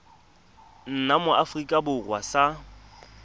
nna mo aforika borwa sa